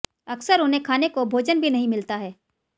अक्सर उन्हें खाने को भोजन भी नहीं मिलता है